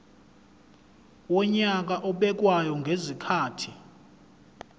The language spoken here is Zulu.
wonyaka obekwayo ngezikhathi